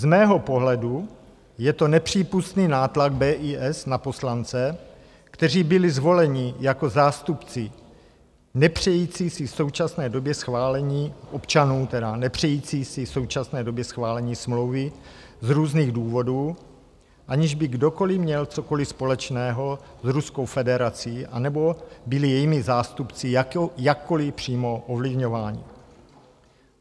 Z mého pohledu je to nepřípustný nátlak BIS na poslance, kteří byli zvoleni jako zástupci nepřející si v současné době schválení - občanů, tedy - nepřející si v současné době schválení smlouvy z různých důvodů, aniž by kdokoliv měl cokoliv společného s Ruskou federací anebo byli jejími zástupci jakkoliv přímo ovlivňováni.